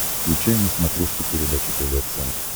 включай на смотрешке передачу тв центр